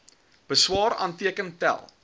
beswaar aanteken tel